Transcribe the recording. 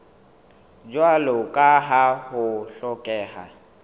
jwalo ka ha ho hlokeha